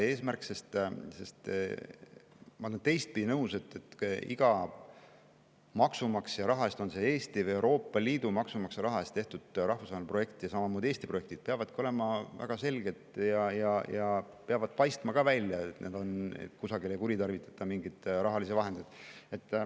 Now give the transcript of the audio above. Ma olen teistpidi nõus sellega, et maksumaksja raha eest, Eesti või Euroopa Liidu maksumaksja raha eest tehtud rahvusvahelised projektid ja samamoodi Eesti projektid peavadki olema väga selged ja peab ka paistma välja nii, et kusagil ei kuritarvitata mingeid rahalisi vahendeid.